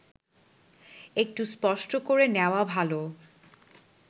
একটু স্পষ্ট করে নেওয়া ভালো